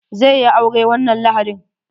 Zai yi aure wannan lahadin.